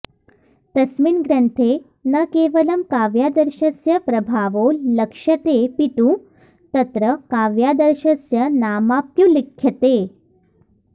तस्मिन् ग्रन्थे न केवलं काव्यादर्शस्य प्रभावो लक्ष्यतेऽपितु तत्र काव्यादर्शस्य नामाप्युल्लिख्यते